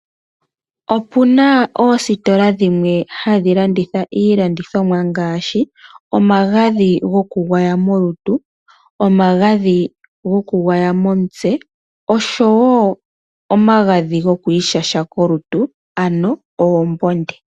Opu na oositola dhimwe hadhi landitha iilandithomwa ngaashi omagadhi gokugwaya molutu, omagadhi gokugwaya momutse noshowo omagadhi gokwiishasha kolutu, ano oombonde.